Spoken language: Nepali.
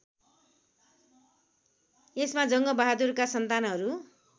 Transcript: यसमा जङ्गबगादुरका सन्तानहरू